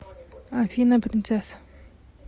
афина принцесса